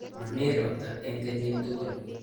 Mami robta eng kenyit tugul